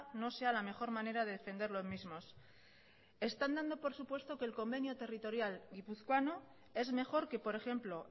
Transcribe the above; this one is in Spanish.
no sea la mejor manera de defender los mismos están dando por supuesto que el convenio territorial guipuzcoano es mejor que por ejemplo